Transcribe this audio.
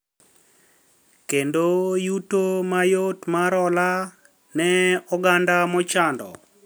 Kendo yuto mayot mar hola ne oganda mochando